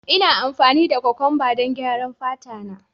Ina amfani da kokwamba don gyaran fata na